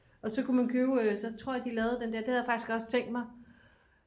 og så kunne man købe så tror jeg de lavede den der det havde jeg faktisk også tænkt mig